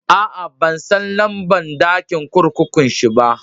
Aa, ban san lamba'n dakin kurkukun shi ba.